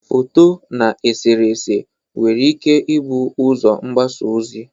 Foto na eserese nwere ike ibụ ụzọ mgbasa ozi.